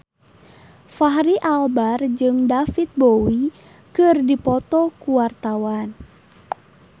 Fachri Albar jeung David Bowie keur dipoto ku wartawan